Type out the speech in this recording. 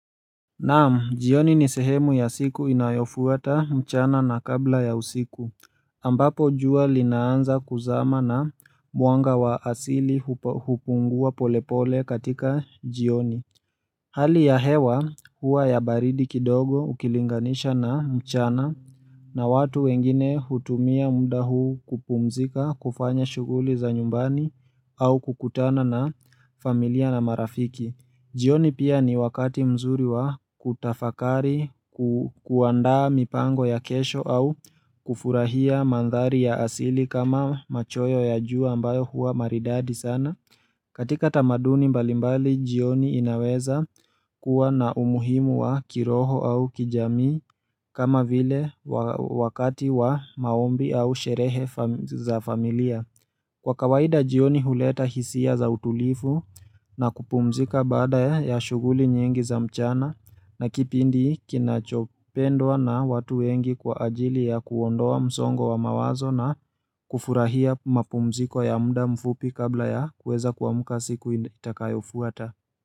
Naam, jioni ni sehemu ya siku inayofuata mchana na kabla ya usiku, ambapo jua linaanza kuzama na mwanga wa asili hupungua polepole katika jioni. Hali ya hewa huwa ya baridi kidogo ukilinganisha na mchana na watu wengine hutumia muda huu kupumzika kufanya shughuli za nyumbani au kukutana na familia na marafiki. Jioni pia ni wakati mzuri wa kutafakari kuandaa mipango ya kesho au kufurahia mandhari ya asili kama machweo ya jua ambayo hua maridadi sana. Katika tamaduni mbalimbali jioni inaweza kuwa na umuhimu wa kiroho au kijamii kama vile wakati wa maombi au sherehe za familia. Kwa kawaida jioni huleta hisia za utulivu na kupumzika baada ya shughuli nyingi za mchana na kipindi kinachopendwa na watu wengi kwa ajili ya kuondoa msongo wa mawazo na kufurahia mapumziko ya muda mfupi kabla ya kuweza kuamka siku itakayofuata.